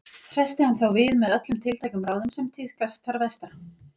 Hressti hann þá við með öllum tiltækum ráðum sem tíðkast þar vestra.